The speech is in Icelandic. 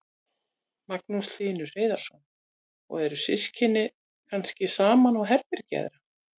Magnús Hlynur Hreiðarsson: Og eru systkini kannski saman á herbergi eða?